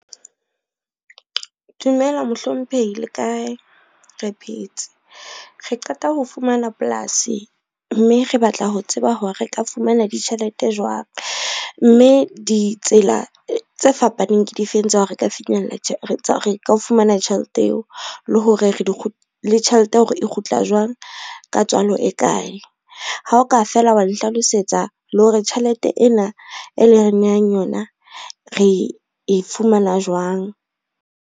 Dumela mohlomphehi le kae? Re phetse, re qeta ho fumana polasi mme re batla ho tseba ho re ka fumana ditjhelete jwang, mme ditsela tse fapaneng ke difeng tsa ho re ka fumana tjhelete eo le tjhelete hore e kgutla jwang ka tswalo e kae. Ha o ka fela wa nhlalosetsa le hore tjhelete ena e leng re nehang yona re e fumana jwang.